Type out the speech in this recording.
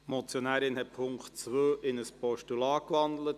Die Motionärin hat den Punkt 2 in ein Postulat gewandelt.